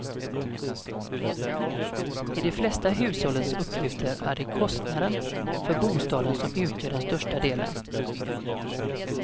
I de flesta hushållens utgifter är det kostnaden för bostaden som utgör den största delen.